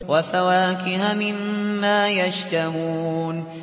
وَفَوَاكِهَ مِمَّا يَشْتَهُونَ